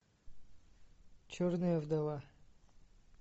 черная вдова